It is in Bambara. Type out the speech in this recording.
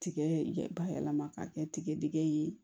Tigɛ bayɛlɛma ka kɛ tigɛdɛgɛ ye